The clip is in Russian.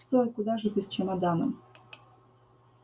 стой куда же ты с чемоданом